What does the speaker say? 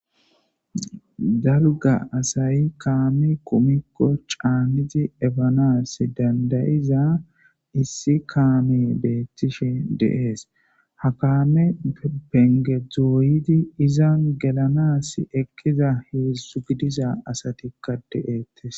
Dalga asay kame kumikko c'anidi eppanas danda'iza issi kammey betishe de'es kame penge doyidi izzan gellanas eqqida 3thu gidiza asati de'ettees.